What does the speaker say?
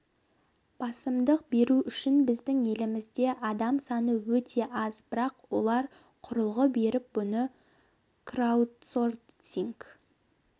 басымдық беру үшін біздің елімізде адам саны өте аз бірақ олар құрылғы беріп бұны краудсорсинг